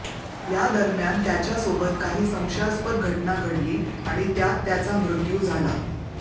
यादरम्यान त्याच्यासोबत काही संशयास्पद घटना घडली आणि त्यात त्याचा मृत्यू झाला